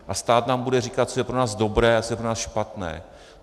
A stát nám bude říkat, co je pro nás dobré a co je pro nás špatné.